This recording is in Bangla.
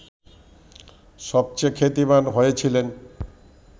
সবচেয়ে খ্যাতিমান হয়েছিলেন